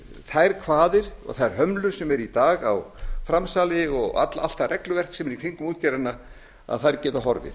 þær kvaðir og þær hömlur sem eru í dag á framsali og allt það regluverk sem er í kringum útgerðirnar geti horfið